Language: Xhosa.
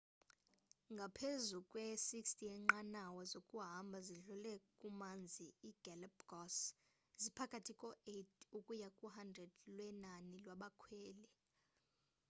ngaphezu kwe 60 yenqanawa zokuhamba zidlule kumanzi i galapagos ziphakathi ko 8 ukuya ku 100 lwenani lwabakhweli